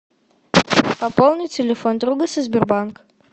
пополни телефон друга со сбербанк